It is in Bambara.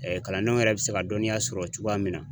kalandenw yɛrɛ bɛ se ka dɔnniya sɔrɔ cogoya min na.